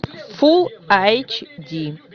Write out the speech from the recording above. фул айч ди